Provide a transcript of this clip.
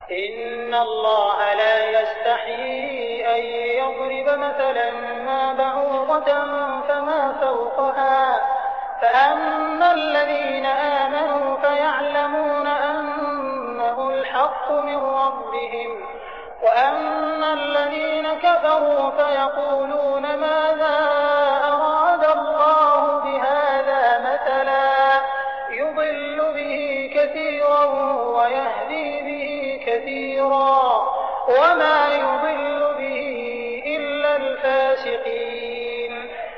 ۞ إِنَّ اللَّهَ لَا يَسْتَحْيِي أَن يَضْرِبَ مَثَلًا مَّا بَعُوضَةً فَمَا فَوْقَهَا ۚ فَأَمَّا الَّذِينَ آمَنُوا فَيَعْلَمُونَ أَنَّهُ الْحَقُّ مِن رَّبِّهِمْ ۖ وَأَمَّا الَّذِينَ كَفَرُوا فَيَقُولُونَ مَاذَا أَرَادَ اللَّهُ بِهَٰذَا مَثَلًا ۘ يُضِلُّ بِهِ كَثِيرًا وَيَهْدِي بِهِ كَثِيرًا ۚ وَمَا يُضِلُّ بِهِ إِلَّا الْفَاسِقِينَ